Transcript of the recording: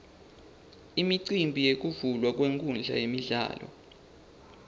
imicimbi yekuvulwa kwenkhundla yemidlalo